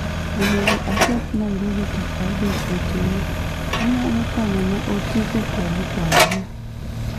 onego achop nairobi tich abich otieno, inyalo kano na otiko kuom kwayona